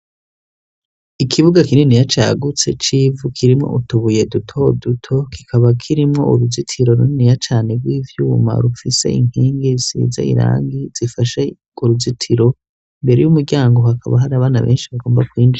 Ikibuga kinini ya cagutse civu kirimwo utubuye dutoduto kikaba kirimwo uruzitiro runiniya cane rw'ivyuma rufise inkengi siza irangi zifashe uruzitiro imbere y'umuryango hakaba hari abana benshi bagomba kwinjura.